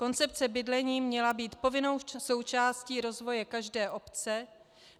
Koncepce bydlení měla být povinnou součástí rozvoje každé obce.